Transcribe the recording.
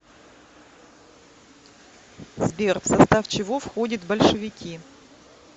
сбер в состав чего входит большевики